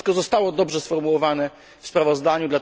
To wszystko zostało dobrze sformułowane w sprawozdaniu.